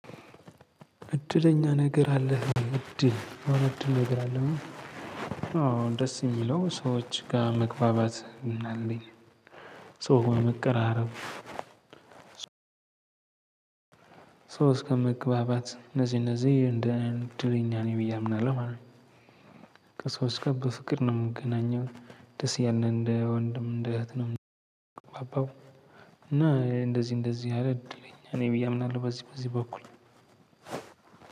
እድለኛ ነገር አለህ እድል እውነት እድል ነገር አለህ አዎ ደስ የሚለው ሰዎች ጋር መግባባት አለኝ ሰው መቀራረብ ሶ እስከመግባባት እነዚህ እነዚህ እንደ እድለኛ ነኝ ብዬ አምናለሁ ማለት ነው። ከሰዋች ጋር በፍቅር ነው የምገናኘው ደስ እያለን እንደ ወንድም እንደ እህት ነው የምንግባባው። እና እንደዚህ እንደዚህ አይነት እድለኛ ነኝ ብዬ አምናለሁ በዚህ በዚህ በኩል